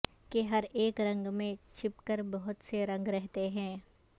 کہ ہر اک رنگ میں چھپ کر بہت سے رنگ رہتے ہیں